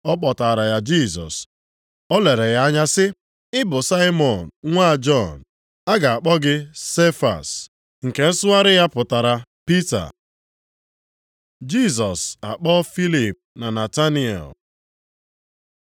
Ọ kpọtaara ya Jisọs. O lere ya anya sị, “Ị bụ Saimọn nwa Jọn. A ga-akpọ gị Sefas” (nke nsụgharị ya, pụtara Pita + 1:42 Sefas bụ asụsụ Hibru, ebe Pita bụ asụsụ Griik, ma ha abụọ pụtara otu ihe okwute.). Jisọs akpọọ Filip na Nataniel